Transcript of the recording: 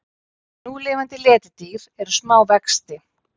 Núlifandi letidýr eru smá vexti.